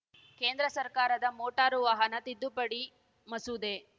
ಕೇಂದ್ರ ಸರ್ಕಾರದ ಮೋಟಾರು ವಾಹನ ತಿದ್ದುಪಡಿ ಮಸೂದೆ